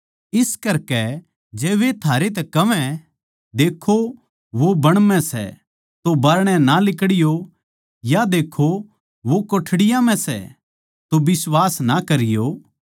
इस करकै जै वे थारै तै कहवै देक्खो वो बण म्ह सै तो बाहरणै ना लिकड़यो या देक्खो वो कोठड़िया म्ह सै तो बिश्वास ना करियो